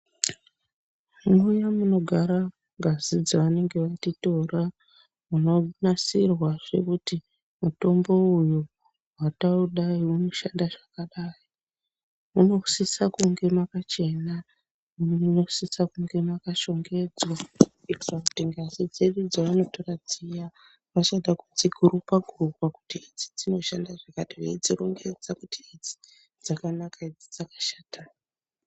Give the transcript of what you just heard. Muya munogara ngazi dzavanenge vatitora munonasirwazve kuti mutombo uyu zvataudai unoshanda zvakadai munosisa kunge makachena munosisa kunge makashongedzwa kuitira kuti ngazi dzedu dzavanotora dziya vachada kudzigurupa gurupa kuti idzi dzinoshanda zvakati veidzirongedza kuti idzi dzakanaka idzi dzakashata.